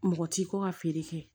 Mɔgɔ ti ko ka feere kɛ